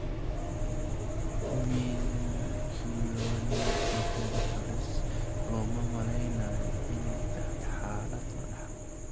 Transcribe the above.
Meningoencephalocele looma maleynayo inay tahay xaalad la dhaxlo.